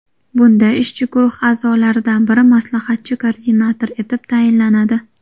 Bunda ishchi guruh a’zolaridan biri maslahatchi-koordinator etib tayinlanadi.